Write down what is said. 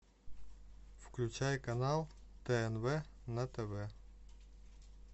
включай канал тнв на тв